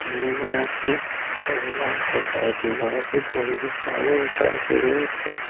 তিনিগৰাকী মহিলা আছে তাৰে দুগৰাকী বহি আছে আৰু এগৰাকী ৰৈ আছে।